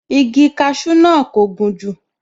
Igi kasú náà kò gùn jù